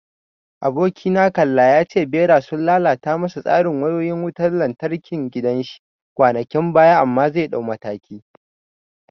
Abokina kalla ya ce Ɓera sun lalata masa tsarin wayoyin wutan lantarkin gidan shi kwanakin baya amma zai dauki mataki.